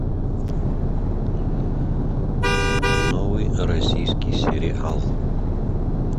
новый российский сериал